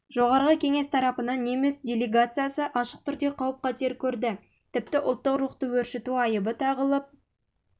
жоғарғы кеңес пен тарапынан кеңес неміс делегациясы ашық түрде қауіп қатер көрді тіпті ұлттық рухты өршіту айыбы тағылып